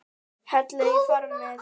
Hellið í formið.